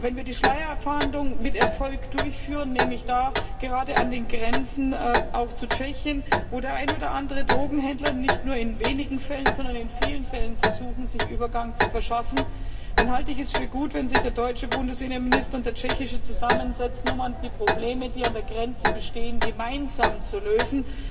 Wenn wir die Schleierfahndung mit Erfolg durchführen, nämlich da gerade auch an den Grenzen zu Tschechien wo der ein oder andere Drogenhändler nicht nur in wenigen Fällen, sondern in vielen Fällen versucht, sich Übergang zu verschaffen, dann halte ich es für gut, wenn sich der deutsche und der tschechische Innenminister zusammensetzen, um die Probleme, die an der Grenze bestehen, gemeinsam zu lösen.